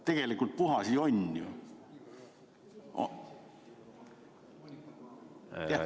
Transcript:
Tegelikult puhas jonn ju!